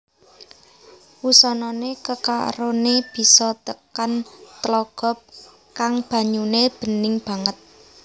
Wusanane kekarone bisa tekan tlaga kang banyune bening banget